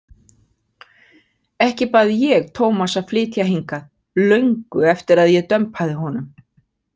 Ekki bað ég Tómas að flytja hingað, löngu eftir að ég dömpaði honum.